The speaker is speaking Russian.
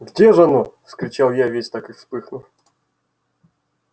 где ж оно вскричал я весь так и вспыхнув